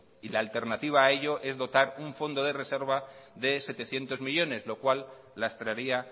y la alternativa a ello es dotar un fondo de reservas de setecientos millónes lo cual las traería